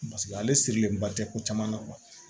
Paseke ale sirilenba tɛ ko caman na